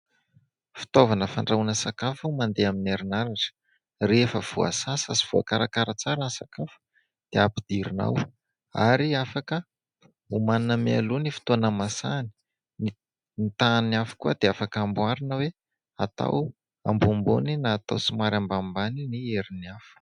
Fitaovana fandrahoana sakafo mandeha amin'ny herinaratra. Rehefa voasasa sy voakarakara tsara ny sakafo dia ampidirina ao ary afaka omanina mialoha ny fotoana hahamasahany. Ny tahan'ny afo koa dia afaka amboarina hoe atao ambonimbony na somary ambanimbany ny herin'ny afo.